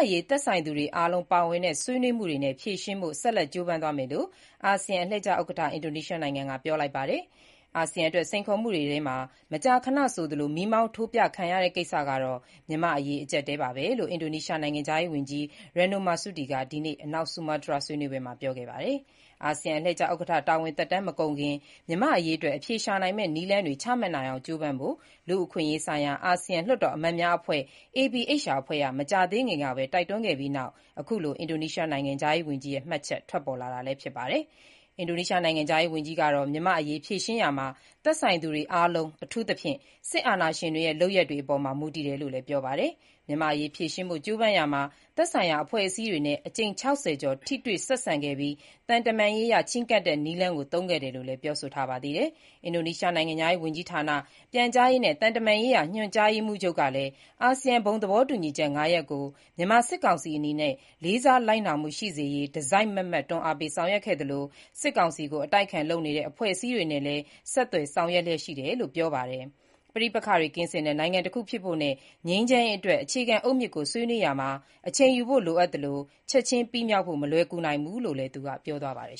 ရေး သက်ဆိုင်သူတွေ အားလုံးပါဝင်တဲ့ ဆွေးနွေးမှုတွေနဲ့ ဖြေရှင်းဖို့ ဆက်လက်ကြိုးပမ်းသွားမယ်လို့ အာဆီယံအလှည့်ကျဥက္ကဋ္ဌ အင်ဒိုနီးရှားနိုင်ငံက ပြောလိုက်ပါတယ်။ အာဆီယံအတွက် စိန်ခေါ်မှုတွေထဲမှာ မကြာခဏဆိုသလို မီးမောင်းထိုးပြခံရတဲ့ ကိစ္စကတော့ မြန်မာ့နိုင်ငံရေး အကြပ်အတည်းပါပဲ လို့လည်း အင်ဒိုနီးရှားနိုင်ငံခြားရေးဝန်ကြီး Retno Marsudi က ဒီနေ့ အနောက်ဆူမားတြားက ဆွေးနွေးပွဲမှာ ပြောခဲ့တာပါ။ အာဆီယံ အလှည့်ကျဥက္ကဋ္ဌ တာဝန်သက်တမ်း မကုန်ခင် မြန်မာ့အရေးအတွက် အဖြေရှာနိုင်မယ့် နည်းလမ်းတွေ ချမှတ်နိုင်အောင် ကြိုးပမ်းဖို့ လူ့အခွင့်အရေးဆိုင်ရာ အာဆီယံလွှတ်တော်အမတ်များအဖွဲ့ အဖွဲ့က မကြာသေးခင်ကပဲ တိုက်တွန်းခဲ့ပြီးနောက်အခုလို အင်ဒိုနီးရှား နိုင်ငံခြားရေးဝန်ကြီးရဲ့ မှတ်ချက် ထွက်ပေါ်လာတာလည်း ဖြစ်ပါတယ်။ အင်ဒိုနီးရှား နိုင်ငံခြားရေးဝန်ကြီးကတော့ မြန်မာ့အရေး ဖြေရှင်းရာမှာ သက်ဆိုင်သူတွေ အားလုံး၊ အထူးသဖြင့် စစ်အာဏာရှင်တွေရဲ့ လုပ်ရပ်တွေအပေါ်မှာ မူတည်တယ်လို့လည်း ပြောပါတယ်။ မြန်မာ့အရေး ဖြေရှင်းဖို့ ကြိုးပမ်းရာမှာ သက်ဆိုင်ရာ အဖွဲ့အစည်းတွေနဲ့ အကြိမ် ၆၀ ကျော် ထိတွေ့ဆက်ဆံခဲ့ပြီး သံတမန်ရေးအရ ချဉ်းကပ်တဲ့ နည်းလမ်းကို သုံးခဲ့တယ်လို့လည်း ပြောဆိုထားပါသေးတယ်။ အင်ဒိုနီးရှား နိုင်ငံခြားရေး ဝန်ကြီးဌာန၊ ပြန်ကြားရေးနဲ့ သံတမန်ရေးရာ ညွှန်ကြားရေးမှူးချုပ် Teuku Faizasyah ကလည်း အာဆီယံဘုံသဘောတူညီချက် ၅ ရပ်ကို မြန်မာစစ်ကောင်စီ အနေနဲ့ လေးစားလိုက်နာမှု ရှိစေရေး တစိုက်မတ်မတ် တွန်းအားပေးဆောင်ရွက်ခဲ့သလို၊ စစ်ကောင်စီကို အတိုက်အခံ လုပ်နေတဲ့ အဖွဲ့အစည်းတွေနဲ့လည်း ဆက်သွယ်ဆောင်ရွက်လျှက်ရှိတယ်လို့ ပြောပါတယ်။ ပဋိပက္ခတွေ ကင်းစင်တဲ့ နိုင်ငံတခုဖြစ်ဖို့နဲ့ ငြိမ်းချမ်းရေးအတွက် အခြေခံအုတ်မြစ်ကို ဆွေးနွေးရာမှာ အချိန်ယူဖို့ လိုအပ်သလို ချက်ချင်းပြီးမြောက်ဖို့မလွယ်ကူနိုင်ဘူးလို့လည်း သူကပြောပါတယ်